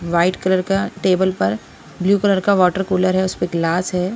White colour का table पर blue colour का वाटर कूलर है उसपे गिलास है।